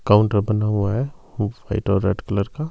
counter बना हुआ है हुफ व्हाइट और रेड कलर का--